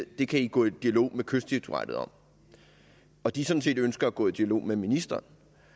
det kan de gå i dialog med kystdirektoratet om og de sådan set ønsker at gå i dialog med ministeren